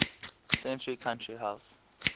century country house